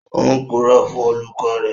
Ó ń purọ́ fún olùkọ́ rẹ̀